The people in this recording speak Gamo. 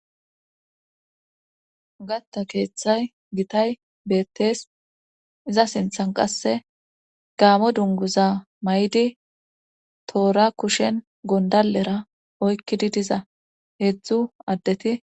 Gatta keeththay gitay beettees iza sinthan qasse gaamo dunguza maydi toora kushen gonddallera oykkidi diza heedzdzu addeti.